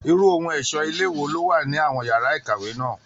Irú ohun ẹ̀ṣọ́ ilé wo ló wà ní àwọn yàrá ìkàwé náà?